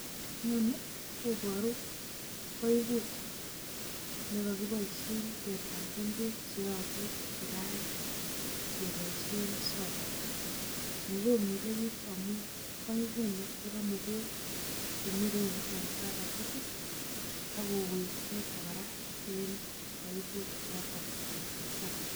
Inoni koboru baibut ne kogiboisien kebamben beek che yobu kirait, keboisien solar. Ni komile biik amun baibuni koromu beek che muren en bagetit agowek choto kora en baibut noton kot mising.